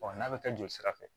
n'a bɛ kɛ joli sira fɛ